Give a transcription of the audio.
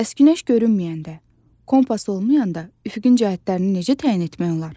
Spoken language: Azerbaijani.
Bəs günəş görünməyəndə, kompas olmayanda üfüqün cəhətlərini necə təyin etmək olar?